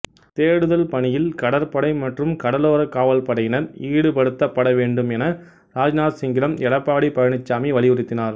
தேடுதல் பணியில் கடற்படை மற்றும் கடலோர காவல்படையினர் ஈடுபடுத்தப்பட வேண்டும் என ராஜ்நாத் சிங்கிடம் எடப்பாடி பழனிச்சாமி வலியுறுத்தினார்